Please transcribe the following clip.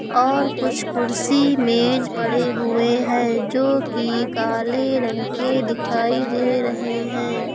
और कुछ कुर्सी मेज पड़े हुए हैं जो कि काले रंग के दिखाई दे रहे हैं।